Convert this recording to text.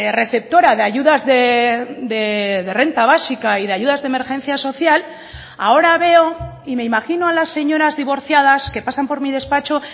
receptora de ayudas de renta básica y de ayudas de emergencia social ahora veo y me imagino a las señoras divorciadas que pasan por mi despacho